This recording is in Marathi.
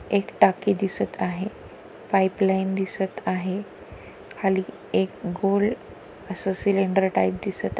एक टाकी दिसत आहे पाइपलाइन दिसत आहे खाली एक गोल अस सिलेंडर टाइप दिसत आ--